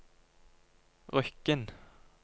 Rykkinn